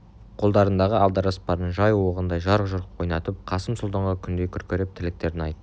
қолдарындағы алдаспандарын жай оғындай жарқ-жұрқ ойнатып қасым сұлтанға күндей күркіреп тілектерін айтты